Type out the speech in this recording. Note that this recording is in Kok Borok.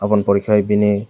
bw ni pore ke bini--